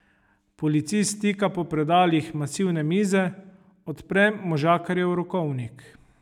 Policist stika po predalih masivne mize, odpre možakarjev rokovnik.